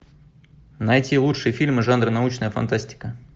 найти лучшие фильмы жанра научная фантастика